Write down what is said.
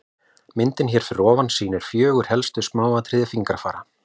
myndin hér fyrir ofan sýnir fjögur helstu smáatriði fingrafara